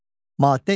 Maddə 2.